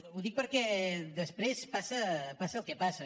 ho dic perquè després passa el que passa